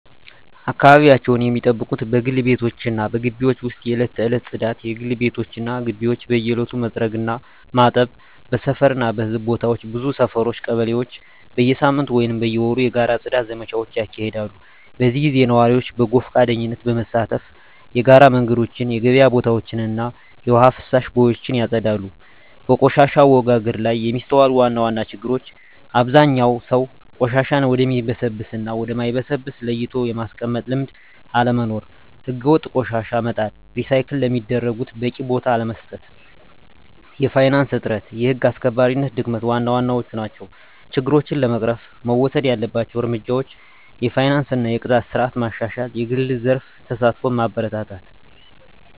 አካባቢያቸውን ሚጠብቁት በግል ቤቶች እና በግቢዎች ውስጥ የዕለት ተዕለት ጽዳት: የግል ቤቶች እና ግቢዎች በየዕለቱ መጥረግ እና ማጠብ። በሰፈር እና በሕዝብ ቦታዎች ብዙ ሰፈሮች (ቀበሌዎች) በየሳምንቱ ወይም በየወሩ የጋራ የጽዳት ዘመቻዎች ያካሂዳሉ። በዚህ ጊዜ ነዋሪዎች በጎ ፈቃደኝነት በመሳተፍ የጋራ መንገዶችን፣ የገበያ ቦታዎችን እና የውሃ ፍሳሽ ቦዮችን ያጸዳሉ። በቆሻሻ አወጋገድ ላይ የሚስተዋሉ ዋና ዋና ችግሮች አብዛኛው ሰው ቆሻሻን ወደሚበሰብስ እና ወደ ማይበሰብስ ለይቶ የማስቀመጥ ልምድ አለመኖር። ሕገወጥ ቆሻሻ መጣል፣ ሪሳይክል ለሚደረጉት በቂ ቦታ አለመስጠት፣ የፋይናንስ እጥረት፣ የህግ አስከባሪነት ድክመት ዋና ዋናዎቹ ናቸው። ችግሮችን ለመቅረፍ መወሰድ ያለባቸው እርምጃዎች የፋይናንስ እና የቅጣት ስርዓት ማሻሻል፣ የግል ዘርፍ ተሳትፎን ማበረታታት፣ …